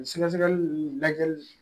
Sɛgɛsɛgɛli ninnu lajɛli